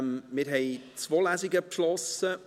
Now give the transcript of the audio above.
Wir haben zwei Lesungen beschlossen.